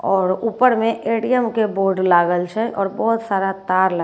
और ऊपर में एडीएम के बोर्ड लागल छे और बहुत सारा तार लागल--